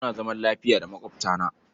Muna zaman lafiya da maƙwabtana.